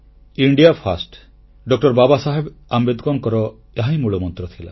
ଭାରତ ପ୍ରଥମ ଡଃ ବାବାସାହେବ ଆମ୍ବେଦକରଙ୍କର ଏହାହିଁ ମୂଳମନ୍ତ୍ର ଥିଲା